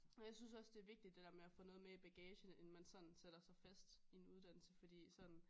Jeg synes også det er vigtig det dér at få noget med i bagagen inden man sådan sætter sig fast i en uddannelse fordi sådan